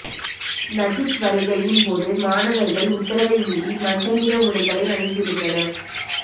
Najib வருகையின் போது மாணவர்கள் உத்தரவை மீறி மஞ்சள் நிற உடைகளை அணிந்திருந்தனர்